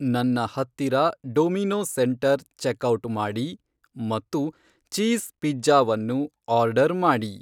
ನನ್ನ ಹತ್ತಿರ Domino centre checkout ಮಾಡಿ ಮತ್ತು ಚೀಸ್ ಪಿಜ್ಜಾವನ್ನು ಆರ್ಡರ್ ಮಾಡಿ